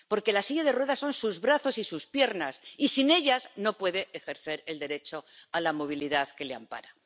La silla de ruedas son sus brazos y sus piernas y sin ellas no puede ejercer el derecho a la movilidad que le ampara.